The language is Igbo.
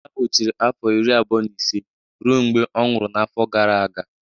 Eze ahụ chịrị afọ iri abụọ na ise ruo mgbe ọ nwụrụ n'afọ gara aga